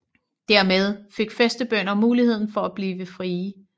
Dermed fik fæstebønder muligheden for at blive frie